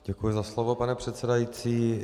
Děkuji za slovo, pane předsedající.